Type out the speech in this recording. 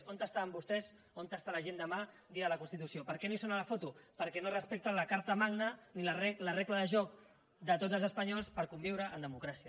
on estaven vostès on estarà la gent demà dia de la constitució per què no hi són a la foto perquè no respecten ni la carta magna ni la regla de joc de tots els espanyols per conviure en democràcia